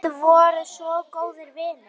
Þið voruð svo góðir vinir.